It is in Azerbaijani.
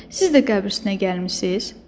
Siz də qəbr üstünə gəlmisiniz?